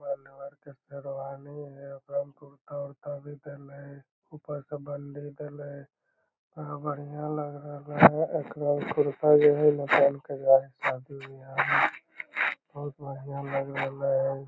के शेरवानी हेय ओकरा में कुर्ता उर्ता भी देले हेय ऊपर से बंडी भी देने हेय केतना बढ़िया लग रहले हेय एकरा कुर्ता जो हेय ना बहुत बढ़िया लग रहले हेय।